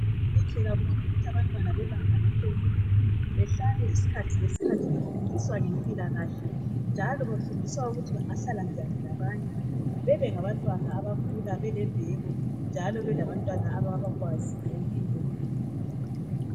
Kuhle kakhulu ukuthi abantwana bebanga laphezulu behlale isikhathi lesikhathi befundiswa ngempilakahle njalo befundiswa ukuthi bangahlala njani labanye bebengabantwana abakhula belembeko njalo belabantwana ababakwazi ngempilo